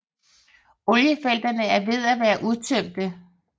Oliefelterne er ved at være udtømte